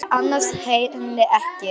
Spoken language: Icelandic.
Ég ansa henni ekki.